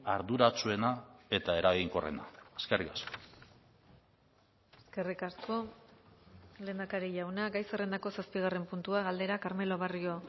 arduratsuena eta eraginkorrena eskerrik asko eskerrik asko lehendakari jauna gai zerrendako zazpigarren puntua galdera carmelo barrio